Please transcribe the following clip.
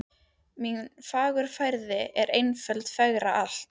Mín fagurfræði er einföld fegrar allt